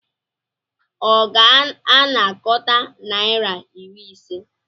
Ọ ga-anakọta naira iri ise?